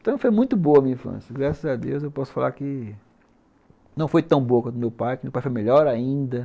Então foi muito boa minha infância, graças a Deus eu posso falar que não foi tão boa quanto o meu pai, que o meu pai foi melhor ainda.